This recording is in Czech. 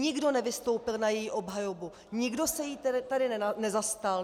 Nikdo nevystoupil na její obhajobu, nikdo se jí tady nezastal.